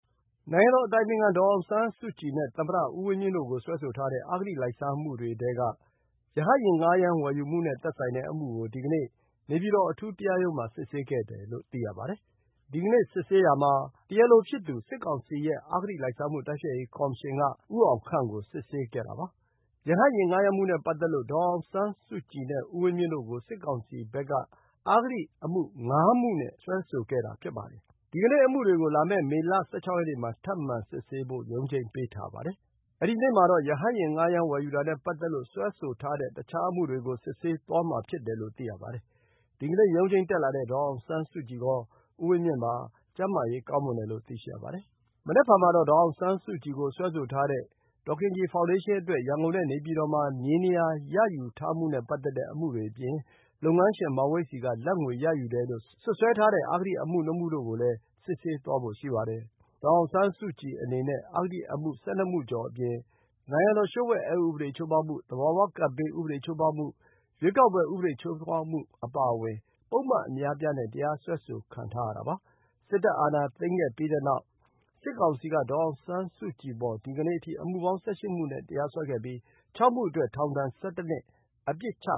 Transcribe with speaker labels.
Speaker 1: နိုင်ငံတော်တိုင်ပင်ခံ ဒေါ်အောင်ဆန်းစုကြည်နဲ့ သမ္မတဦးဝင်းမြင့်တို့ကို စွဲဆိုထားတဲ့ အဂတိလိုက်စားမှုတွေထဲက ရဟတ်ယာဉ် ငှားရမ်းတာ၊ ဝယ်ယူတာနဲ့သက်ဆိုင်တဲ့အမှုကို ဒီကနေ့ နေပြည်တော်အထူးတရားရုံးမှာ စစ်ဆေးခဲ့တယ်လို့ သိရပါတယ်။ ဒီကနေ့စစ်ဆေးတာမှာ တရားလိုဖြစ်သူ စစ်ကောင်စီရဲ့ အဂတိလိုက်စားမှုတိုက်ဖျက်ရေးကော်မရှင်က ဦးအောင်ခန့်ကို စစ်ဆေးခဲ့တယ်လို့ သိရပါတယ်။ ဒီကနေ့မှာတော့ ဒီအမှုတခုတည်းကိုပဲ စစ်ဆေးခဲ့တယ်လို့ သိရပါတယ်။ ရဟတ်ယာဉ်ငှားရမ်းမှုနဲ့ ပတ်သက်လို့ ဒေါ်အောင်ဆန်း စုကြည်နဲ့ ဦးဝင်းမြင့်တို့ကို စစ်ကောင်စီဘက်က အဂတိအမှု ၅ မှုနဲ့ စွဲဆိုခဲ့တာ ဖြစ်ပါတယ်။ ဒီအမှုတွေကို လာမယ့် မေ ၁၆ ရက်နေ့မှာ ထပ်မံ စစ်ဆေးဖို့ ရုံးချိန်းပေးထားပါတယ်။ အဲဒီနေ့မှာတော့ ရဟတ်ယာဉ်ဌားရမ်းဝယ်ယူတာနဲ့ပတ်သတ်လို့ စွဲဆိုထားတဲ့ တခြားအမှုတွေကို စစ်ဆေးသွားမှာဖြစ်တယ်လို့ သိရပါတယ်။ ဒီကနေ့ရုံးချိန်းတက်လာတဲ့ ဒေါ်အောင်ဆန်းစုကြည်ကော ဦးဝင်းမြင့်ကော ကျန်းမာရေးကောင်းမွန်တယ်လို့ သိရပါတယ်။ မနက်ဖြန်မှာတော့ ဒေါ်အောင်ဆန်းစုကြည်ကိုစွဲဆိုထားတဲ့ ဒေါ်ခင်ကြည်ဖောင်ဒေးရှင်းအတွက် ရန်ကုန်နဲ့ နေပြည်တော်မှာ မြေနေရာရယူထားမှုနဲ့ပတ်သက်တဲ့ အမှုတွေအပြင် လုပ်ငန်းရှင် မောင်ဝိတ်ဆီက လာဘ်ငွေရယူတယ်လို့ စွပ်စွဲ စွဲဆိုထားတဲ့ အဂတိအမှု ၂ မှုတို့ကို စစ်ဆေးသွားဖို့ရှိပါတယ်။ ဒေါ်အောင်ဆန်းစုကြည်အနေနဲ့ အဂတိအမှု ၁၂ မှုကျော်အပြင် နိုင်ငံတော်လျှို့ဝှက်အက်ဥပဒေချိုးဖောက်မှု၊ သဘာဝကပ်ဘေးဥပဒေ ချိုးဖောက်မှု၊ ရွေးကောက်ပွဲဥပဒေချိုးဖောက်မှု အပါအဝင် ပုဒ်မအများအပြားနဲ့ တရားစွဲဆိုခံထားရပါတယ်။ စစ်တပ် အာဏာသိမ်းခဲ့ပြီးနောက် စစ်ကောင်စီက ဒေါ်အောင်ဆန်းစုကြည်အပေါ် လောလောဆယ်အထိ အမှုပေါင်း ၁၈ မှုနဲ့ တရားစွဲခဲ့ပြီး ဒီကနေ့အမှုအပါအဝင် ၆ မှုအတွက် ထောင်ဒဏ် ၁၁ နှစ် ပြစ်ဒဏ် ချ